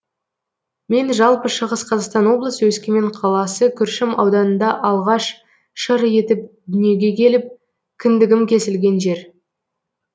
мен жалпы шығыс қазақстан облысы өскемен қаласы күршім ауданында алғаш шыр етіп дүниеге келіп кіндігім кесілген жер